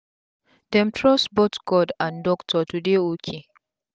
dem trust both god and doctor to dey ok